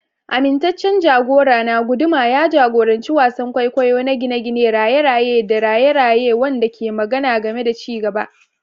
Amintaccen jagorana, guduma, ya jagoranci wasan kwaikwayo na gine-gine, raye-raye tare da raye-raye wanda ke magana game da ci gaba.